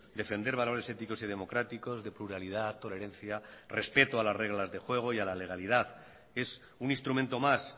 defender valores éticos y democráticos de pluralidad tolerancia respeto a las reglas del juego y a la legalidad es un instrumento más